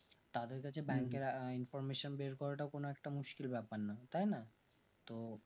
তাদের কাছে bank এর information বের করা টাও কোনো একটা মুশকিল ব্যাপার না তাই না তো